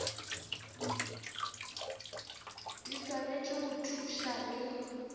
di swanetše go thuša le